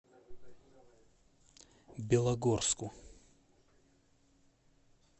белогорску